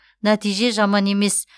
нәтиже жаман емес